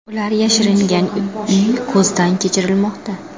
Ular yashiringan uy ko‘zdan kechirilmoqda.